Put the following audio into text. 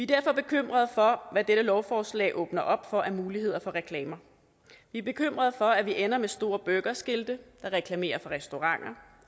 derfor bekymrede for hvad dette lovforslag åbner op for af muligheder for reklamer vi er bekymrede for at vi ender med store burgerskilte der reklamerer for restauranter